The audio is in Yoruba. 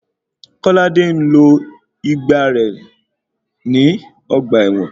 Kọ́ládé ń lo ìgbà rẹ ní ọgbà ẹ̀wọ̀n.